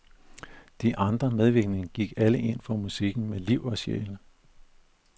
De andre medvirkende gik alle ind for musikken med liv og sjæl.